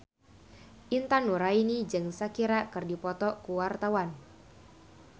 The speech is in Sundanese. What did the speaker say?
Intan Nuraini jeung Shakira keur dipoto ku wartawan